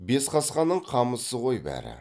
бесқасқаның қамысы ғой бәрі